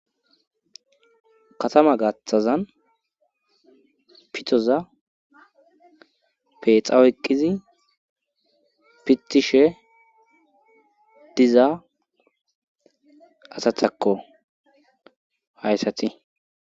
katama gaththazan pitoza peexam oyeqqif i pittishe diza asathakko hayssati